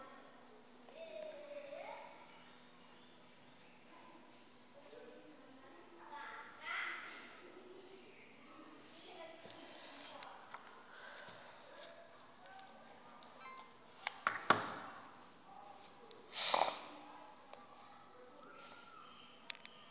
lakhe